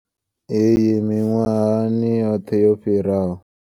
Iyi miṅwahani yoṱhe yo fhiraho.